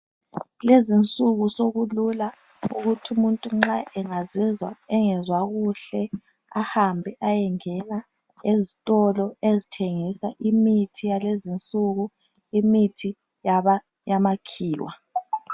Kulezinsuku sokulula ukuthi umuntu nxa engazizwa engazwa kuhle ahambe ayengena ezitolo ezithengisa imithi yalezinsuku imithi yamakhiwa.